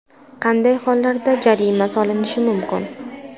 Qanday hollarda jarima solinishi mumkin?